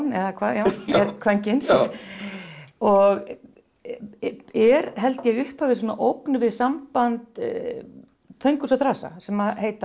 eða hvað er kvenkyns og er held ég í upphafi ógn við samband Þönguls og þrasa sem heita